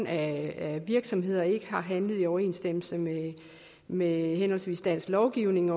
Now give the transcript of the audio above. af virksomheder ikke har handlet i overensstemmelse med henholdsvis dansk lovgivning